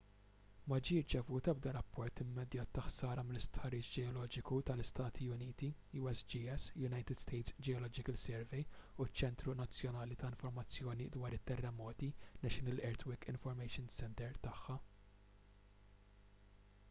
ma ġie rċevut ebda rapport immedjat ta’ ħsara mill-istħarriġ ġeoloġiku tal-istati uniti usgs - united states geological survey u ċ-ċentru nazzjonali ta’ informazzjoni dwar it-terremoti national earthquake information center” tagħha